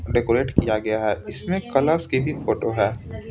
Decorate किया गया है इसमें कलर्स की भी फोटो है ।